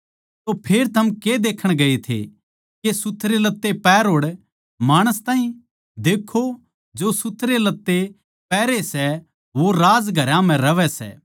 तो फेर थम के देखण गये थे के सुथरे लत्ते पहरे होड़ माणस ताहीं देक्खो जो सुथरे लत्ते पहरै सै वे राजघरां म्ह रहवैं सै